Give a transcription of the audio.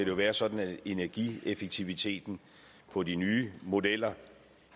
jo være sådan at energieffektiviteten på de nye modeller